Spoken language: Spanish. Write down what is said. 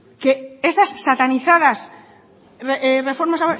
que esas satanizadas reformas